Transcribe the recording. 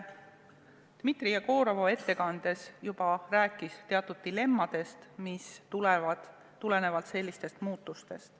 Dmitri Jegorov rääkis oma ettekandes teatud dilemmadest, mis tulenevad sellistest muutustest.